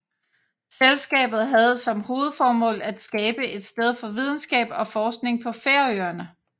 Selskabet havde som hovedformål at skabe et sted for videnskab og forskning på Færøerne